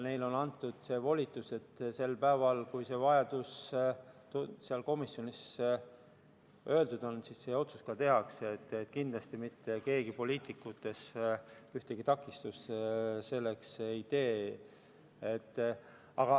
Neile on antud volitus, et sel päeval, kui see vajadus seal komisjonis välja öeldud on, see otsus ka tehakse, kindlasti mitte keegi poliitikutest ühtegi takistust sellele ei tee.